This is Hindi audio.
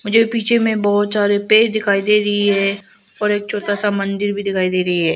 ये पीछे में बहोत सारे पेड़ दिखाई दे रही है और एक छोटा सा मंदिर में दिखाई दे रही है।